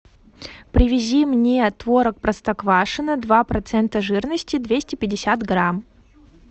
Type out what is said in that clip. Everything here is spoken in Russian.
привези мне творог простоквашино два процента жирности двести пятьдесят грамм